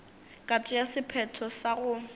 ka tšea sephetho sa go